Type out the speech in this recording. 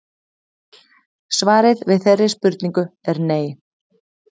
Svarið við þeirri spurningu er nei.